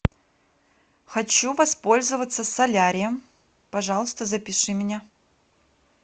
хочу воспользоваться солярием пожалуйста запиши меня